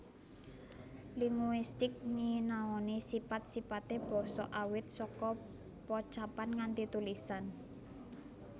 Linguistik nyinaoni sipat sipate basa awit saka pocapan nganti tulisan